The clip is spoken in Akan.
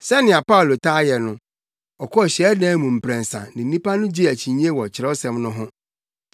Sɛnea Paulo taa yɛ no, ɔkɔɔ hyiadan mu mprɛnsa ne nnipa no gyee akyinnye wɔ Kyerɛwsɛm no ho,